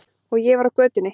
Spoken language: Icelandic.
Og ég var á götunni.